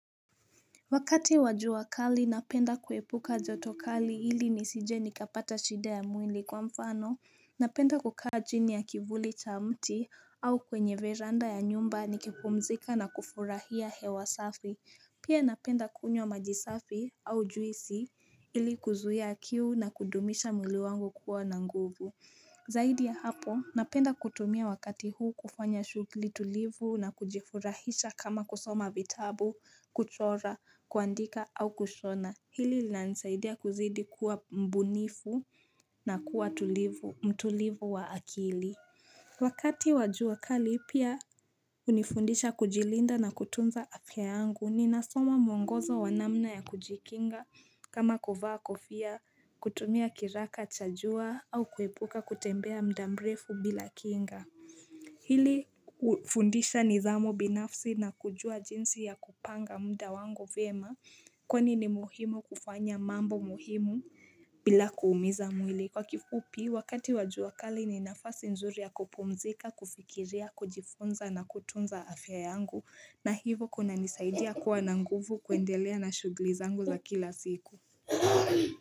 Wakati wajua kali napenda kuepuka joto kali ili nisije nikapata shida ya mwili kwa mfano Napenda kukara jini ya kivuli cha mti au kwenye veranda ya nyumba nikipumzika na kufurahia hewa safi Pia napenda kunywa majisafi au juisi ili kuzuhia kiu na kudumisha mwili wangu kuwa na nguvu Zaidi ya hapo, napenda kutumia wakati huu kufanya shugili tulivu na kujifurahisha kama kusoma vitabu, kuchora, kuandika au kushona. Hili lina nisaidia kuzidi kuwa mbunifu na kuwa tulivu, mtulivu wa akili. Wakati wajua wakali pia hunifundisha kujilinda na kutunza afya yangu ni nasoma muongozo wanamna ya kujikinga kama kuvaa kofia kutumia kiraka chajua au kuepuka kutembea mdamrefu bila kinga Hili hufundisha nidhamu binafsi na kujua jinsi ya kupanga mda wangu vema kwenye ni muhimu kufanya mambo muhimu bila kuumiza mwili kwa kifupi wakati wajua kali ni nafasi nzuri ya kupumzika kufikiria kujifunza na kutunza afya yangu na hivo kuna nisaidia kuwa na nguvu kuendelea na shuglizangu za kila siku.